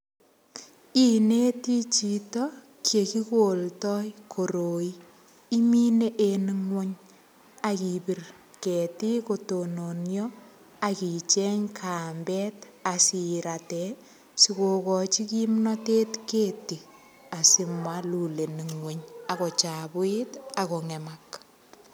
Ineti chitokyegigoldoi koroi. Imine ingwony ak ipir ketiik ko tononio ak icheng kambet asirate sigogachi kimnotet keti asimalul en ingwony ak kochabuit ak kongemak.